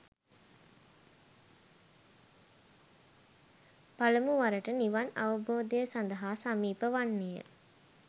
පළමු වරට නිවන් අවබෝධය සඳහා සමීප වන්නේය.